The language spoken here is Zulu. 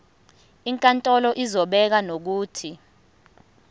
inkantolo izobeka nokuthi